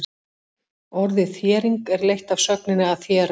Orðið þéring er leitt af sögninni að þéra.